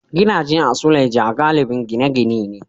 Gidaje a suleja galibin gine-gine ne.